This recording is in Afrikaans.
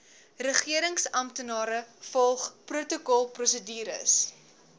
regeringsamptenare volg protokolprosedures